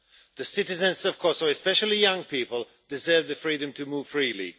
The citizens of Kosovo, especially young people, deserve the freedom to move freely.